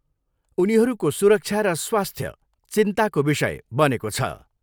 उनीहरूको सुरक्षा र स्वास्थ्य चिन्ताको विषय बनेको छ।